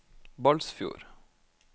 Balsfjord